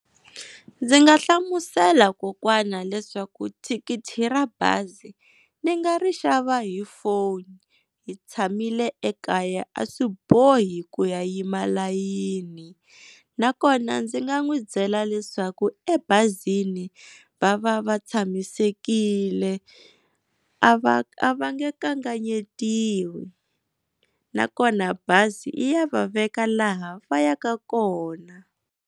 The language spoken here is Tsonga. Ndzi nga hlamusela kokwana leswaku thikithi ra bazi ni nga ri xava hi foni hi tshamile ekaya a swi bohi ku ya yima layini. Nakona ndzi nga n'wi byela leswaku emabazini va va va tshamisekile, a va a va nge kanganyetiwe na kona bazi yi ya va veka laha va ya ka kona.